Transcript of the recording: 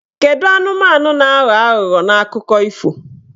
Kedụ anụmanụ na-aghọ aghụghọ n'akụkọ ifo?